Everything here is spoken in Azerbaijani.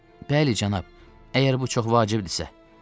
Bəli, cənab, əgər bu çox vacibdirsə.